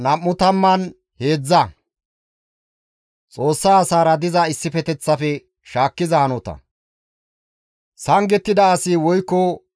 Sangettida asi woykko qaaratettida asi GODAA dere duulatan beettofo.